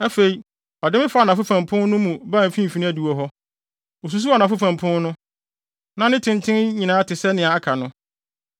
Afei ɔde me faa anafo fam pon no mu baa mfimfini adiwo hɔ. Osusuw anafo fam pon no; na ne tenten nyinaa te sɛ nea aka no.